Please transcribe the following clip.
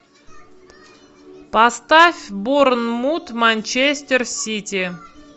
поставь борнмут манчестер сити